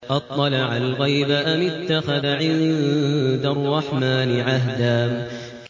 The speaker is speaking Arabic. أَطَّلَعَ الْغَيْبَ أَمِ اتَّخَذَ عِندَ الرَّحْمَٰنِ عَهْدًا